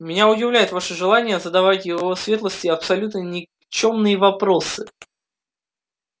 меня удивляет ваше желание задавать его светлости абсолютно никчёмные вопросы